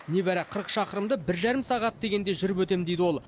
небәрі қырық шақырымды бір жарым сағат дегенде жүріп өтем дейді ол